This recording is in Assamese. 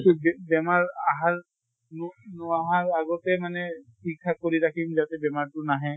কিন্তু বে বেমাৰ আহাৰ ন নহাৰ আগতে মানে ঠিক ঠাক কৰি ৰাখিম যাতে বেমাৰটো নাহে।